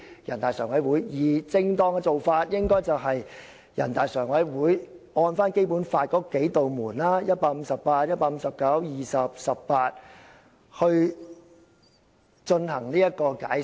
而正當的做法應該是：人大常委會按照《基本法》那"數扇門"：第十八、十九、一百五十八及一百五十九條作出解釋。